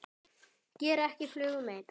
Gera ekki flugu mein.